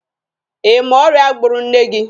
Ị ma ọrịa gburu nne gị?